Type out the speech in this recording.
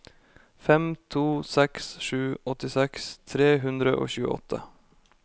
fem to seks sju åttiseks tre hundre og tjueåtte